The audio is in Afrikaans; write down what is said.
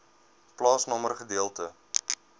plaasnommer gedeelte